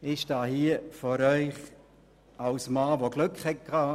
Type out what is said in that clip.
Ich stehe hier vor Ihnen als Mann, der Glück hatte.